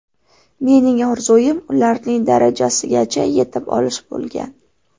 Mening orzuim ularning darajasigacha yetib olish bo‘lgan.